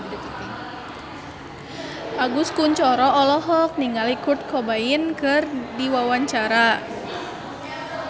Agus Kuncoro olohok ningali Kurt Cobain keur diwawancara